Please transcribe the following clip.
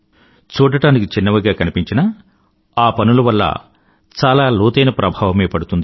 చూడడానికి చిన్నవిగా కనిపించినా ఆ పనుల వల్ల చాలా లోతైన ప్రభావమే పడుతుంది